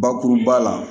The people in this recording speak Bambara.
Bakuruba la